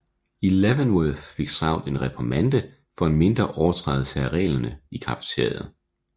I Leavenworth fik Stroud en reprimande for en mindre overtrædelse af reglerne i cafeteriet